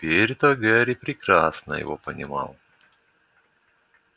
теперь-то гарри прекрасно его понимал